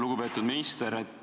Lugupeetud minister!